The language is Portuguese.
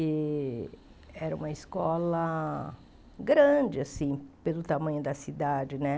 E era uma escola grande, assim, pelo tamanho da cidade, né?